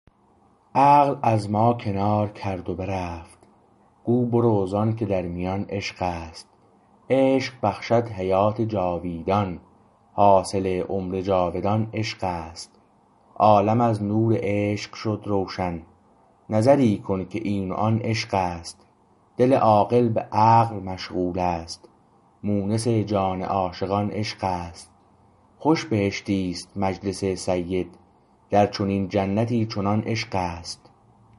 عقل از ما کنار کرد و برفت گو برو زانکه در میان عشق است عشق بخشد حیات جاویدان حاصل عمر جاودان عشق است عالم از نور عشق شد روشن نظری کن که این و آن عشق است دل عاقل به عقل مشغول است مونس جان عاشقان عشق است خوش بهشتی است مجلس سید در چنین جنتی چنان عشق است